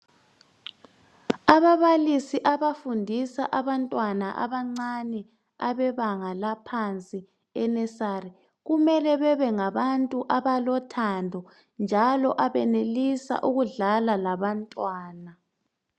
Ababalisi abafundisa abantwana abebanga laphansi e- nursary . Kumele bebe ngabantu abalothando njalo abenelisa ukudlala labantwana.